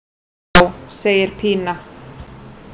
Já, segir Pína.